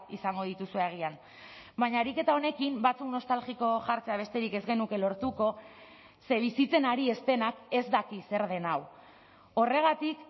izango dituzue agian baina ariketa honekin batzuk nostalgiko jartzea besterik ez genuke lortuko ze bizitzen ari ez denak ez daki zer den hau horregatik